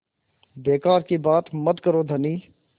बेकार की बात मत करो धनी